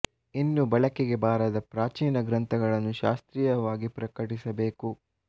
ಇನ್ನೂ ಬೆಳಕಿಗೆ ಬಾರದ ಪ್ರಾಚೀನ ಗ್ರಂಥಗಳನ್ನು ಶಾಸ್ತ್ರೀಯ ವಾಗಿ ಪ್ರಕಟಿಸಬೇಕು